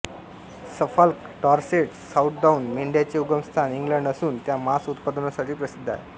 Suffolk Dorset Southdown मेंढ्यांचे उगमस्थान England असून त्या मांस उत्पादनासाठी प्रसिद्ध आहेत